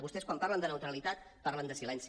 vostès quan parlen de neutralitat parlen de silenci